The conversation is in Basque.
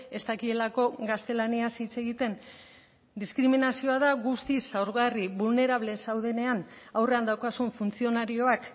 ez dakielako gaztelaniaz hitz egiten diskriminazioa da guztiz zaurgarri vulnerable zaudenean aurrean daukazun funtzionarioak